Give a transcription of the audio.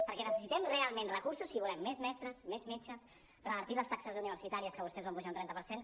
perquè necessitem realment recursos si volem més mestres més metges revertir les taxes universitàries que vostès van pujar un trenta per cent